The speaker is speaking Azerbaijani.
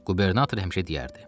Qubernator həmişə deyərdi: